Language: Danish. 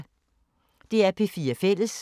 DR P4 Fælles